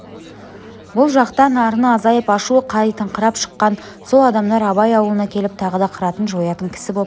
бұл жақтан арыны азайып ашуы қайтыңқырап шыққан сол адамдар абай аулына келіп тағы да қыратын жоятын кісі боп